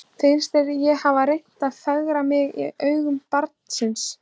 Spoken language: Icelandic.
Finnst þér ég hafa reynt að fegra mig í augum barnsins?